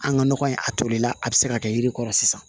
An ka nɔgɔ in a tolila a bɛ se ka kɛ yiri kɔrɔ sisan